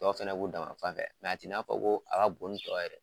Tɔw fana b'u danma fan fɛ, nka a t'i n'a fɔ ko a ka bon ni tɔw ye dɛ